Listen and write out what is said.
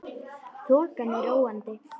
Þokan er róandi